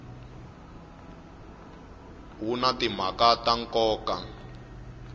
wu na timhaka ta nkoka